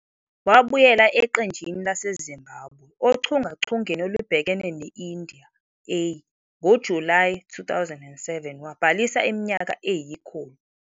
Wabuyela eqenjini laseZimbabwe ochungechungeni olubhekene ne-India A ngoJulayi 2007, wabhalisa iminyaka eyikhulu.